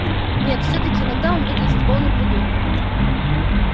нет всё-таки иногда он выглядит полным придурком